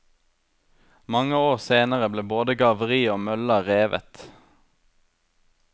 Mange år senere ble både garveriet og mølla revet.